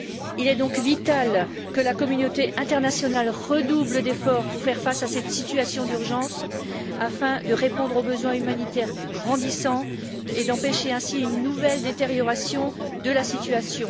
Il est donc vital que la communauté internationale redouble d'efforts pour faire face à cette situation d'urgence, afin de répondre aux besoins humanitaires grandissants et d'empêcher ainsi une nouvelle détérioration de la situation.